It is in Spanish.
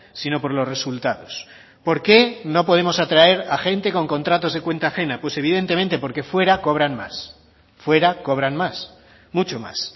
sino por los resultados por qué no podemos atraer a gente con contratos de cuenta ajena pues evidentemente porque fuera cobran más fuera cobran más mucho más